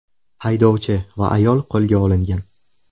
Haydovchi va ayol qo‘lga olingan.